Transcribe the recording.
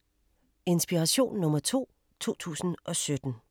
Inspiration nr. 2, 2017